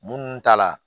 Mun ta la